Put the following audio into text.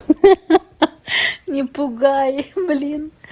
ха-ха не пугай блин